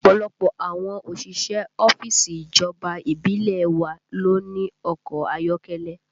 Ọ̀pọ̀lọpọ̀ àwọn òṣìṣẹ́ ọ́fíìsì ìjọba ìbílẹ̀ ẹ wa ló ní ọkọ ayọ́kẹ́lẹ́